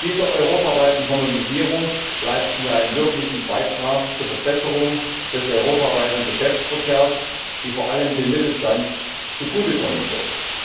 Mit dieser europaweiten Harmonisierung leisten wir einen wirklichen Beitrag zur Verbesserung des europaweiten Geschäftsverkehrs, die vor allem dem Mittelstand zugute kommen wird.